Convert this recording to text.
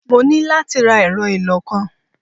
Mo ní láti ra ẹ̀rọ ìlọ-nǹkan.